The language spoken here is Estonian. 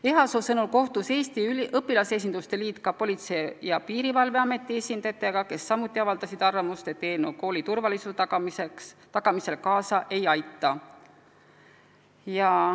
Ehasoo sõnul kohtus Eesti Õpilasesinduste Liit ka Politsei- ja Piirivalveameti esindajatega, kes samuti avaldasid arvamust, et eelnõu kooli turvalisuse tagamisele kaasa ei aita.